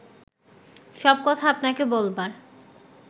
সব কথা আপনাকে বলবার